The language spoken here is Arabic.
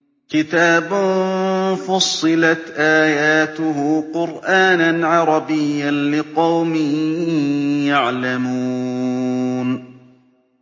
كِتَابٌ فُصِّلَتْ آيَاتُهُ قُرْآنًا عَرَبِيًّا لِّقَوْمٍ يَعْلَمُونَ